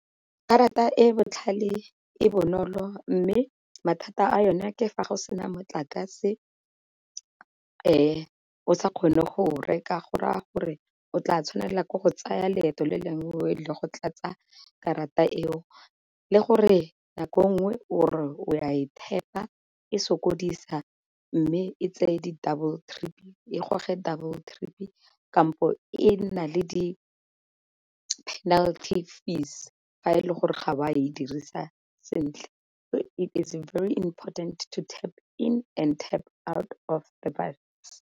Karata e botlhale e bonolo mme mathata a yona ke fa go sena motlakase o sa kgone go reka go raya gore o tla tshwanela ke go tsaya leeto le lengwe o ye go tlatsa karata eo, le gore nako nngwe o re o ya e tap-a e sokodisa mme e goge double trip kampo e nna le penalty fees fa e le gore ga o a e dirisa sentle. It is very important to tap in and tap out of the bus.